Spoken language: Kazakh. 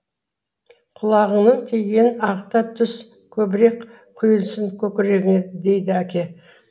құлағыңның тигенін ағыта түс көбірек құйылсын көкірегіңе дейді әке